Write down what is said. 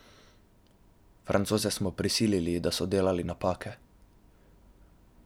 Francoze smo prisilili, da so delali napake.